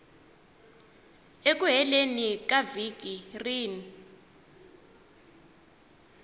eku heleni ka vhiki rin